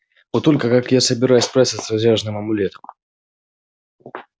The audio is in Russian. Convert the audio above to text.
вот только как я собираюсь справиться с разряженным амулетом